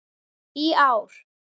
í ár.